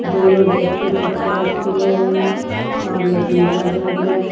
दोनों बेड पे तकिया रखे गए हैं और लकड़ी का बेड है।